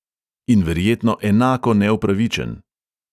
In verjetno enako neupravičen.